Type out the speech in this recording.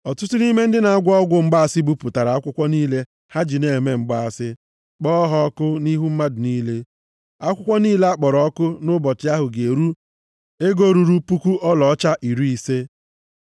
Ọtụtụ nʼime ndị na-agwọ ọgwụ mgbaasị bupụtara akwụkwọ niile ha ji na-eme mgbaasị, kpọọ ha ọkụ nʼihu mmadụ niile. Akwụkwọ niile a kpọrọ ọkụ nʼụbọchị ahụ ga-eru ego ruru puku ọlaọcha iri ise.